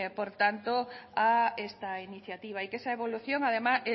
por tanto a esta iniciativa y que esa